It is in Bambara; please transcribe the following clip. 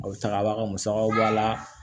A musakaba musakaw b'a la